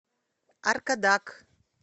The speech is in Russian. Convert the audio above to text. аркадак